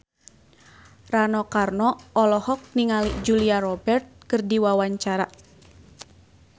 Rano Karno olohok ningali Julia Robert keur diwawancara